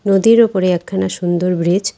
নদীর ওপরে একখানা সুন্দর ব্রিজ ।